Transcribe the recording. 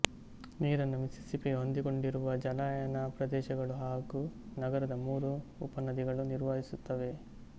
ನೀರನ್ನು ಮಿಸ್ಸಿಸ್ಸಿಪ್ಪಿಗೆ ಹೊಂದಿಕೊಂಡಿರುವ ಜಲಾನಯನ ಪ್ರದೇಶಗಳು ಹಾಗು ನಗರದ ಮೂರು ಉಪನದಿಗಳು ನಿರ್ವಹಿಸುತ್ತವೆ